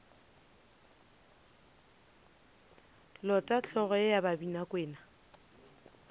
lote hlogo ye ya babinakwena